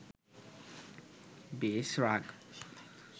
বেশ রাগ